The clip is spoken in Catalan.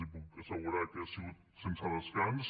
els puc assegurar que ha sigut sense descans